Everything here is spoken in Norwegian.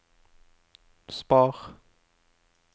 spar